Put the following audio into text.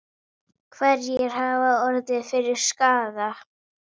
Hverjir hafa orðið fyrir skaða?